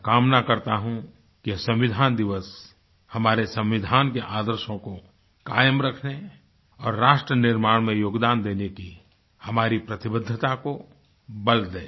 मैं कामना करता हूँ कि संविधान दिवस हमारे संविधान के आदर्शों को कायम रखने और राष्ट्र निर्माण में योगदान देने की हमारी प्रतिबद्धता को बल दे